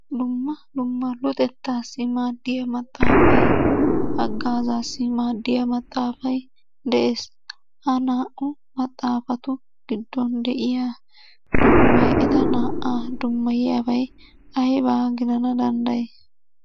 Dumma dumma luxetta maaddiyaa maxaaafay, hagaazassi maaddiyaa maxaafay de'ees. Ha naa"u maxaafatu gidduwan de'iyaa eta naa"a dummayiyaabay aybba gidana dandday?